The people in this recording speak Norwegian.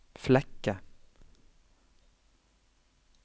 Flekke